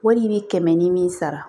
Wari bɛ kɛmɛ ni min sara